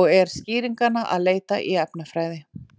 og er skýringanna að leita í efnafræði.